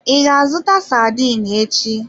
I ga-azụta sardine echi?